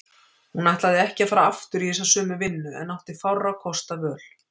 Hún ætlaði ekki að fara aftur í þessa sömu vinnu en átti fárra kosta völ.